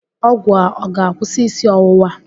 Ọgwụ a ọ ga-akwụsị isi ọwụwa?